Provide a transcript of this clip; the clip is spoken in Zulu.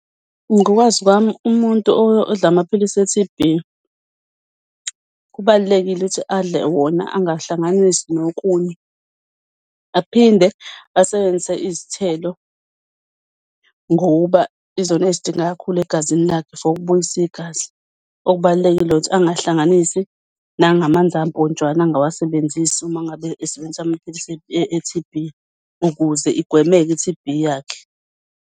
Ngokwazi kwami umuntu odla amaphilisi e-T_B kubalulekile ukuthi adle wona angahlanganisi nokunye. Aphinde asebenzise izithelo ngokuba izona ezidingeka kakhulu egazini lakhe for ukubuyisa igazi. Okubalulekile ukuthi angikahlanganisi nangamanzi amponjwana. Angikawasebenzisi uma ngabe esebenzisa amaphilisi e-T_B ukuze igwemeke i-T_B yakhe.